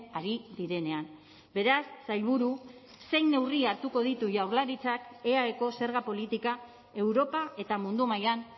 ari direnean beraz sailburu zein neurri hartuko ditu jaurlaritzak eaeko zerga politika europa eta mundu mailan